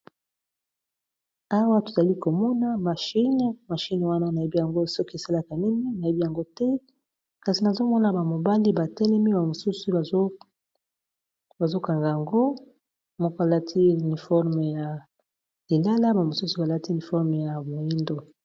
Awa tozali komona mahine mashine wana nayebi yango soki esalaka nini nayebi yango te, kasi nazomona bamobali batelemi bamosusu bazokanga yango moko alati niforme ya elala bamosusu balati niforme ya moindo.